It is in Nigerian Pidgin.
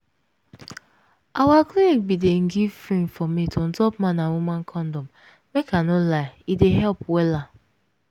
our clinic bin dey give free informate on top man and woman kondom make i no lie e dey help wella.